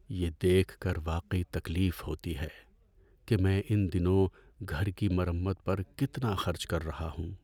یہ دیکھ کر واقعی تکلیف ہوتی ہے کہ میں ان دنوں گھر کی مرمت پر کتنا خرچ کر رہا ہوں۔